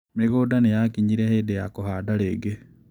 Mĩgũnda nĩ yaakinyire hĩndĩ ya kũhanda rĩngĩ.